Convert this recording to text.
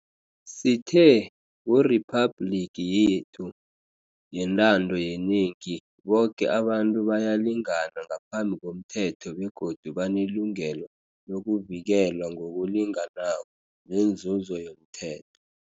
Sithe kuriphabhligi yethu yentando yenengi boke abantu bayalingana ngaphambi komthetho begodu banelungelo lokuvikelwa ngokulinganako nenzuzo yomthe